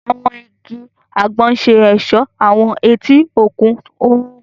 Àwọn ìgi àgbon ṣe ọṣọ awọn eti òkun oòrùn.